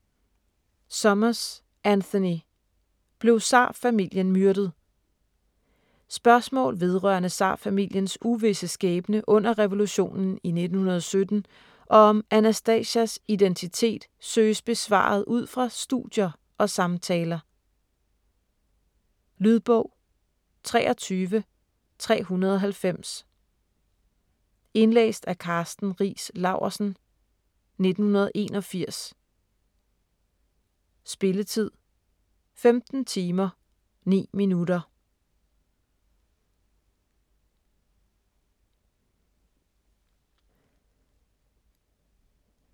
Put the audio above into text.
Summers, Anthony: Blev tsarfamilien myrdet? Spørgsmål vedr. tsarfamiliens uvisse skæbne under revolutionen i 1917 og om Anastasias identitet søges besvaret udfra studier og samtaler. Lydbog 23390 Indlæst af Karsten Riis Laursen, 1981. Spilletid: 15 timer, 9 minutter.